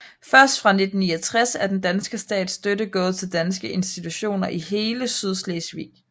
Først fra 1969 er den danske stats støtte gået til danske institutioner i hele Sydslesvig